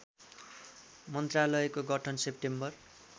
मन्त्रालयको गठन सेप्टेम्बर